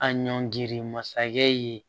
A ɲɔngiri masakɛ ye